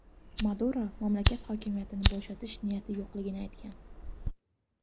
Maduro mamlakat hokimiyatini bo‘shatish niyati yo‘qligini aytgan.